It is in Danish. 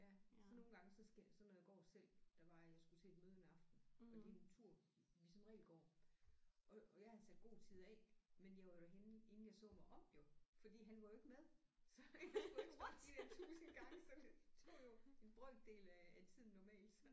Ja så nogle gange så skal så når jeg går selv der var jeg skulle til et møde en aften jeg gik en tur vi som regel går og og jeg havde sat god tid af men jeg var derhenne inden jeg så mig om jo fordi han var jo ikke med så jeg skulle ikke stoppe de der tusind gange så det tog jo en brøkdel af af tiden normalt